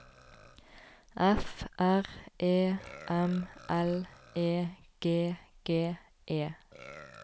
F R E M L E G G E